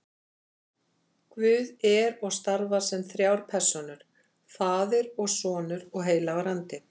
Guð er og starfar sem þrjár persónur, faðir og sonur og heilagur andi.